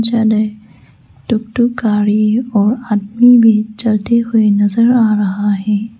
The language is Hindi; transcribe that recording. अने टूकटूक गारी और आदमी भी चलते हुए नजर आ रहा है।